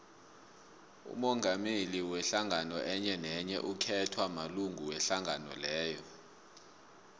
umongameli wehlangano enyenenye ukhethwa malunga wehlangano leyo